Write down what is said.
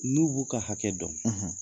N'u b'u ka hakɛ dɔn, .